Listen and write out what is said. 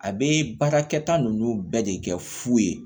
A bɛ baarakɛta ninnu bɛɛ de kɛ fu ye